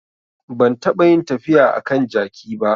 Ban taɓa yin tafiya a kan jaki ba